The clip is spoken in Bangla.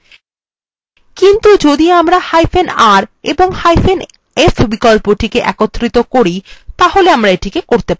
কিন্তু যদি আমরাr এবংf বিকল্পটি একত্রিত করি তাহলে আমরা এটি করতে পারব